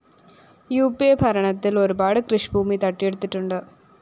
ഉ പി അ ഭരണത്തില്‍ ഒരുപാട് കൃഷിഭൂമി തട്ടിയെടുത്തിട്ടുണ്ട്